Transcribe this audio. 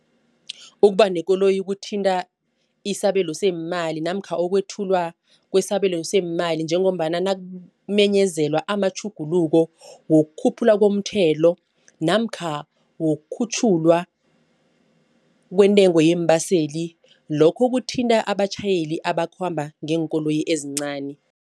Ukuba nekoloyi kuthinta isabelo seemali namkha ukwethula kwesabelo seemali njengombana na nakumenyezelwa amatjhuguluko wokukhuphulwa komthelo namkha wokukhutjhulwa kwentengo yeembaseli lokho kuthinta abatjhayeli abakhamba ngeenkoloyi ezincani.